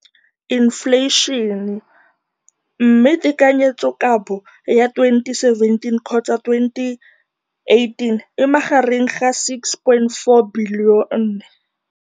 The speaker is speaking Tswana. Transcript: Infleišene, mme tekanyetsokabo ya 2017, 18, e magareng ga R6.4 bilione.